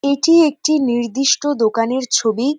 এটি একটি নির্দিষ্ট দোকানের ছবি।